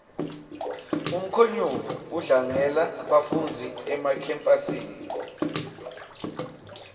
umkhonyovu udlangela bafundzi emakhemphasi